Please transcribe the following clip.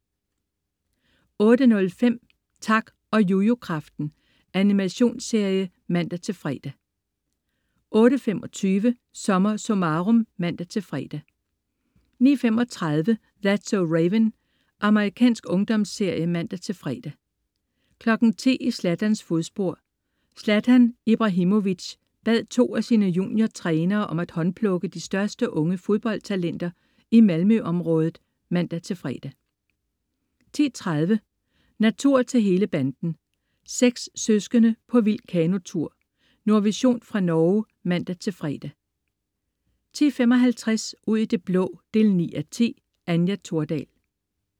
08.05 Tak og Jujukraften. Animationsserie (man-fre) 08.25 SommerSummarum (man-fre) 09.35 That's so Raven. Amerikansk ungdomsserie (man-fre) 10.00 I Zlatans fodspor. Zlatan Ibrahimovic, bad to af sine juniortrænere om at håndplukke de største unge fodboldtalenter i Malmø-området (man-fre) 10.30 Natur til hele banden. Seks søskende på vild kanotur. Nordvision fra Norge (man-fre) 10.55 Ud i det blå 9:10. Anja Thordal